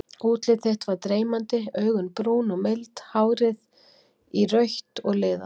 Útlit þitt var dreymandi, augun brún og mild, hárið írautt og liðað.